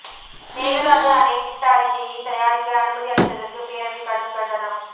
மேகதாது அணை திட்ட அறிக்கையை தயாரிக்க அனுமதி அளித்ததற்கு பேரவை கடும் கண்டனம்